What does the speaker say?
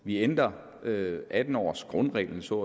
vi ændrer atten årsgrundreglen så